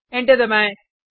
enter दबाएँ